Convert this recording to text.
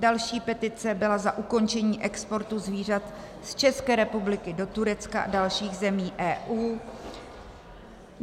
Další petice byla za ukončení exportu zvířat z České republiky do Turecka a dalších zemí EU.